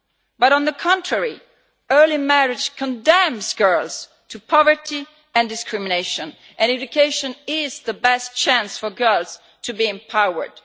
But on the contrary, early marriage condemns girls to poverty and discrimination. Education is the best chance for girls to be empowered.